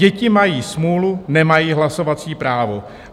Děti mají smůlu, nemají hlasovací právo.